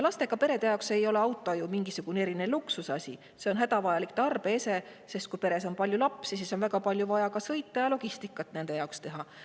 Lastega perede jaoks ei ole auto ju mingisugune eriline luksusasi, see on hädavajalik tarbeese, sest kui peres on palju lapsi, siis on vaja väga palju sõita ja tuleb logistikat teha.